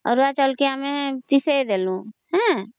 ଅରୁଆ ଚାଉଳ କେ ଆମେ ପିସେଇଦେଲୁ ହେଁ